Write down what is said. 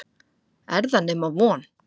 Er það nema von?